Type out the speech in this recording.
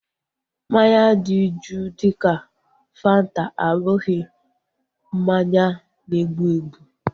Mmanya dị juu dịka fanta abụghị mmanya na-egbu egbu